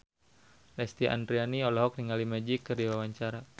Lesti Andryani olohok ningali Magic keur diwawancara